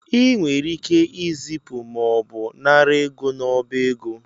I nwere ike ịzịpụ mọọbụ nara ego n’ọba ego